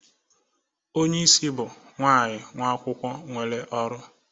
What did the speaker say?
onye isi bụ .nwaanyị nwa akwụkwọ nwere ọrụ